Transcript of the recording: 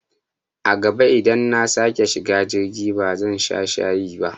A gaba idan nasake shiga jirgi ba zan sha shayi ba